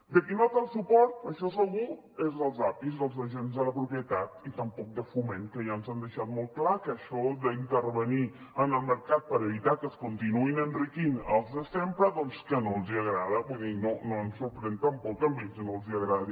de qui no té el suport això segur és dels apis dels agents de la propietat i tampoc de foment que ja ens han deixat molt clar que això d’intervenir en el mercat per evitar que es continuïn enriquint els de sempre doncs que no els agrada vull dir no ens sorprèn tampoc que a ells que no els agradi